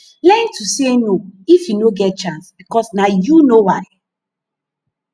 learn to say no if yu no get chance bikos na yu no why